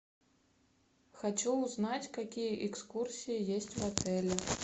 хочу узнать какие экскурсии есть в отеле